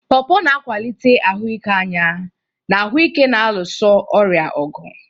Porpor na-akwalite ahụike anya na ahụ ike na-alụso ọrịa ọgụ.